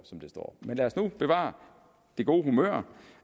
som det står men lad os nu bevare det gode humør